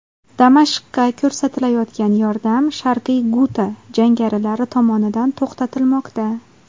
Damashqqa ko‘rsatilayotgan yordam, Sharqiy Guta jangarilar tomonidan to‘xtatilmoqda.